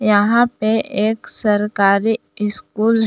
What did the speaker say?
यहां पे एक सरकारी इस्कुल --